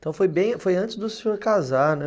Então foi bem, foi antes do senhor casar, né?